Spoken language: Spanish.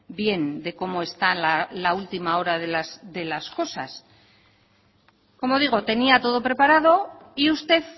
bien de cómo está la última hora de las cosas como digo tenía todo preparado y usted